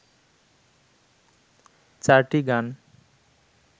চারটি গান